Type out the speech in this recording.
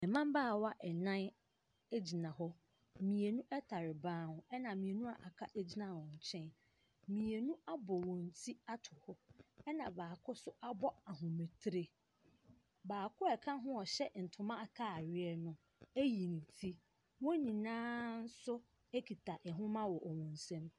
Mmabaawa nnan gyina hɔ, mmienu tare ban ho na mmienu aka no gyina wɔn nkyɛn. mmienu abɔ wɔn ti ato hɔ na baako abɔ ahoma tiri, baako a ɔka ho ɔhyɛ ntoma ataadeɛ no ayi ne ti. Wɔn nyina nso ayi wɔn ti.